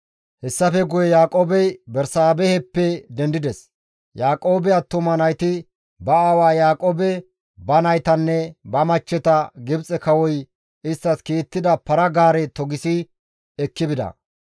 Hessafe guye Yaaqoobey Bersaabeheppe dendides; Yaaqoobe attuma nayti ba aawa Yaaqoobe, ba naytanne ba machcheta Gibxe kawoy isttas kiittida para-gaare togisi ekki bida.